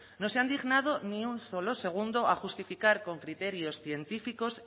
no se han dignado ni un solo segundo a justificar con criterios científicos